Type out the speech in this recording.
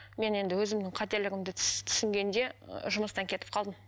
мен енді өзімнің қателігімді түсінгенде ы жұмыстан кетіп қалдым